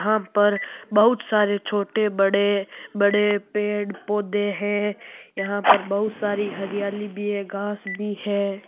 या पर बहुत सारे छोटे बड़े बड़े पड़े पौधे हैं यह पर बहुत हरियाली भी हैं घाँस भी हैं।